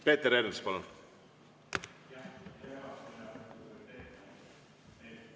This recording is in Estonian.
Peeter Ernits, palun!